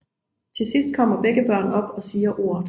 Til sidst kommer begge børn op og siger ordet